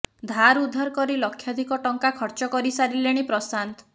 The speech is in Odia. ଧାର ଉଧାର କରି ଲକ୍ଷାଧିକ ଟଙ୍କା ଖର୍ଚ୍ଚ କରିସାରିଲେଣି ପ୍ରଶାନ୍ତ